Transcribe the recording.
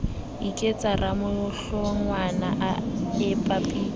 iketsa ramohlongwana a epa pitso